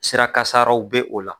Sirakasaraw be o la